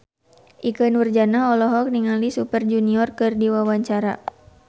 Ikke Nurjanah olohok ningali Super Junior keur diwawancara